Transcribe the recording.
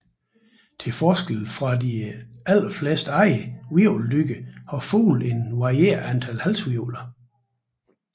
Til forskel fra de aller fleste andre hvirveldyr har fugle et varierende antal halshvirvler